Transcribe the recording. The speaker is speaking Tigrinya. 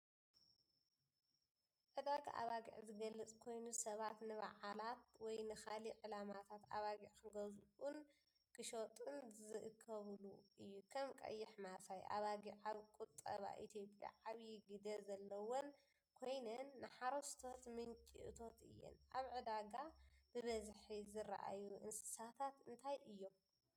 ዕዳጋ ኣባጊዕ ዝገልጽ ኮይኑ፡ ሰባት ንበዓላት ወይ ንኻልእ ዕላማታት ኣባጊዕ ክገዝኡን ክሸጡን ዝእከቡሉ እዩ። ከም ቀይሕ ማሳይ። ኣባጊዕ ኣብ ቁጠባ ኢትዮጵያ ዓብዪ ግደ ዘለወን ኮይነን ንሓረስቶት ምንጪ እቶት እየን። ኣብ ዕዳጋ ብብዝሒ ዝረኣዩ እንስሳታት እንታይ እዮም?